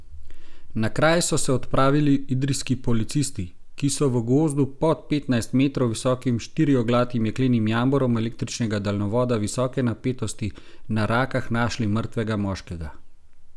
Na kraj so se odpravili idrijski policisti, ki so v gozdu pod petnajst metrov visokim štirioglatim jeklenim jamborom električnega daljnovoda visoke napetosti na Rakah našli mrtvega moškega.